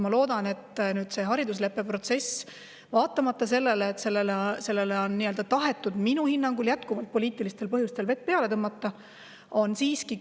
Ma loodan, et haridusleppe protsess, vaatamata sellele, et sellele on tahetud minu hinnangul jätkuvalt poliitilistel põhjustel vett peale tõmmata, siiski.